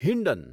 Hindon